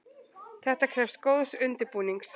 Þetta krefst góðs undirbúnings.